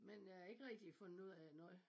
Men jeg har ikke rigtig fundet ud af noget